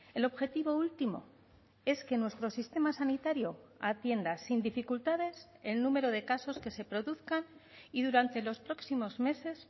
el objetivo último es que nuestro sistema sanitario atienda sin dificultades el número de casos que se produzcan y durante los próximos meses